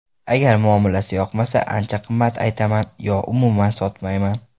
Agar muomalasi yoqmasa, ancha qimmat aytaman yo umuman sotmayman.